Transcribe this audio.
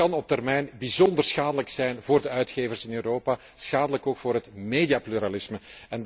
Dat kan op termijn bijzonder schadelijk zijn voor de uitgevers in Europa, schadelijk ook voor het mediapluralisme.